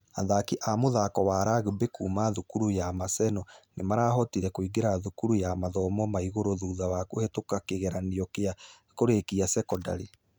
Athaki a mũthako wa rugby kuuma thukuru ya maseni nĩmarahotire kũingĩra thukuru ya mathomo ma igũrũ thutha kũhĩtũka kĩgeranio gĩa kũrĩkia sekondarĩ.